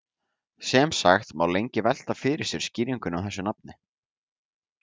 sem sagt má lengi velta fyrir sér skýringunni á þessu nafni